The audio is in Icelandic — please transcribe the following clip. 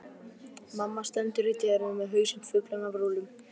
Mamma stendur í dyrunum með hausinn fullan af rúllum.